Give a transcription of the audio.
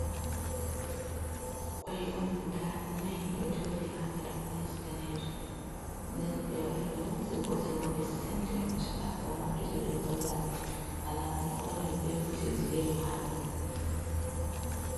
Koi on guda nai ɗo joɗi ha nder plate danejum, nden ɓe wari ɓe hosi gotel bo ɓe sendi ɗum chaka ɗo maɓɓiti ɓeɗo holla amin alama ni koi mai be kujeji yelo ha nder.